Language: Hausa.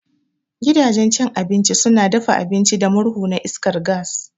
Gidanjen cin abinci suna dafa abinci da murhu na iskar gas